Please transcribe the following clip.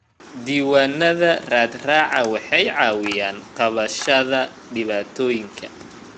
Diiwaanada raadraaca waxay caawiyaan qabashada dhibaatooyinka.